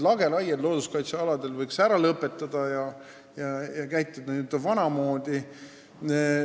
Lageraied looduskaitsealadel võiks ära lõpetada ja käituda vanamoodi.